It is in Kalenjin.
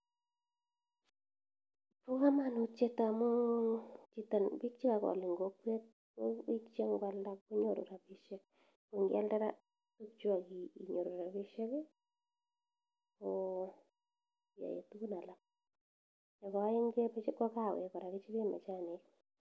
Paa kamanutiet amuu piik chee kakol ing kokwet ko piik chee ngoo alnda konyoru rapishiek koo aee tukuk alak nepoo aeng koo kawek kora kichopee majaniik